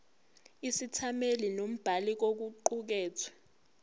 isethameli nombhali kokuqukethwe